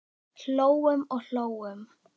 Hlógum og hlógum.